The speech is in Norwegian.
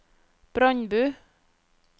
Brandbu